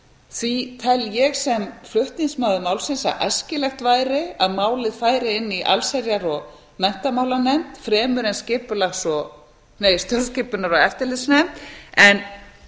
því tel ég sem flutningsmaður málsins að æskilegt væri að málið færi inn í allsherjar og menntamálanefnd fremur en stjórnskipunar og eftirlitsnefnd en